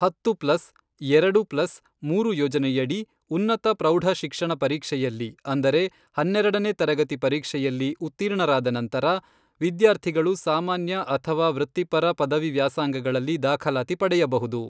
ಹತ್ತು ಪ್ಲಸ್, ಎರೆಡು ಪ್ಲಸ್, ಮೂರು ಯೋಜನೆಯಡಿ, ಉನ್ನತ ಪ್ರೌಢ ಶಿಕ್ಷಣ ಪರೀಕ್ಷೆಯಲ್ಲಿ ಅಂದರೆ ಹನ್ನೆರಡನೇ ತರಗತಿ ಪರೀಕ್ಷೆಯಲ್ಲಿ, ಉತ್ತೀರ್ಣರಾದ ನಂತರ, ವಿದ್ಯಾರ್ಥಿಗಳು ಸಾಮಾನ್ಯ ಅಥವಾ ವೃತ್ತಿಪರ ಪದವಿ ವ್ಯಾಸಂಗಗಳಲ್ಲಿ ದಾಖಲಾತಿ ಪಡೆಯಬಹುದು.